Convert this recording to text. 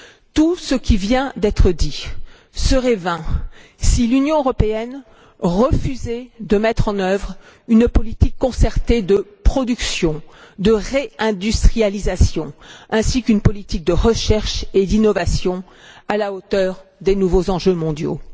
Tout ce qui vient d'être dit serait vain, si l'Union européenne refusait de mettre en œuvre une politique concertée de production et de réindustrialisation, ainsi qu'une politique de recherche et d'innovation à la hauteur des nouveaux enjeux mondiaux.